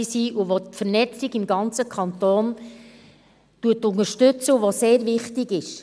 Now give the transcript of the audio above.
Es unterstützt die Vernetzung im ganzen Kanton und ist sehr wichtig.